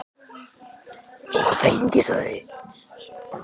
Og fengið þau.